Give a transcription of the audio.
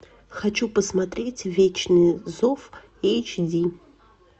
хочу посмотреть вечный зов эйч ди